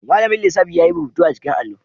Mallamin lissafi yayi rubutu a jikin allo